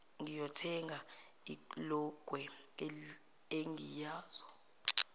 ngiyothenga ilokwe engiyoza